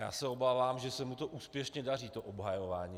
Já se obávám, že se mu to úspěšně daří, to obhajování.